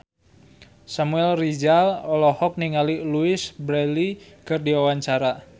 Samuel Rizal olohok ningali Louise Brealey keur diwawancara